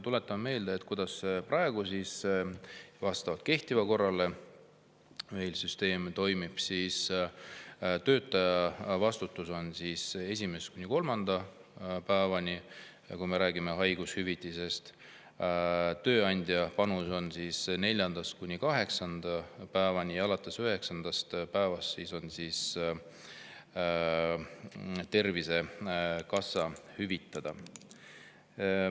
Tuletan meelde, kuidas vastavalt praegu kehtivale korrale meil see süsteem toimib: töötaja vastutus on esimesest kuni kolmanda päevani, kui me räägime haigushüvitisest, tööandja panus on neljandast kuni kaheksanda päevani ja alates üheksandast päevast on Tervisekassa hüvitada.